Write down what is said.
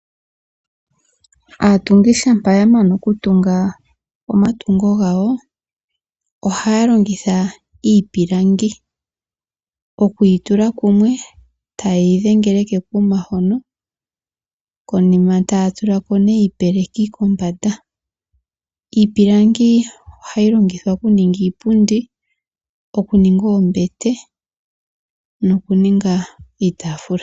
Aatungi shampa ya mana okutunga omatungo gawo ohaya longitha iipilangi okuyi tula kumwe e taye yi dhengele kekuma hono, konima taya tula ko nee iipeleki kombanda. Iipilangi ohayi longithwa okuninga iiipundi, okuninga oombete nokuninga iitaafula.